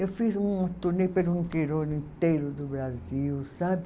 Eu fiz um torneio pelo interior inteiro do Brasil, sabe?